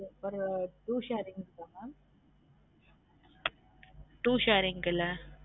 ஒரு two sharing போகும் two sharing ல